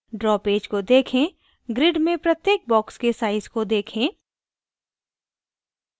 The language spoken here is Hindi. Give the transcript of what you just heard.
draw पेज को देखें grid में प्रत्येक box के size को देखें